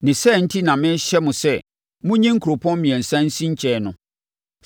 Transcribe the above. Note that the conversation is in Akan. Ne saa enti na merehyɛ mo sɛ monyi nkuropɔn mmiɛnsa nsi nkyɛn no.